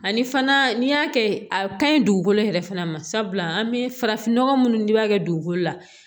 Ani fana n'i y'a kɛ a ka ɲi dugukolo yɛrɛ fana ma sabula an bɛ farafinnɔgɔ minnu dilan i b'a kɛ dugukolo la